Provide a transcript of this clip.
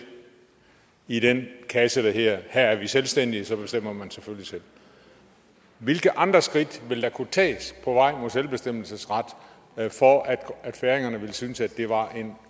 i den kasse der hedder at her er vi selvstændige og så bestemmer man selvfølgelig selv hvilke andre skridt ville der kunne tages på vej mod selvbestemmelsesret for at færingerne ville synes at det var en